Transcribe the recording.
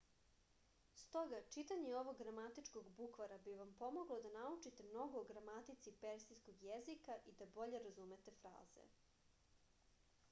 stoga čitanje ovog gramatičkog bukvara bi vam pomoglo da naučite mnogo o gramatici persijskog jezika i da bolje razumete fraze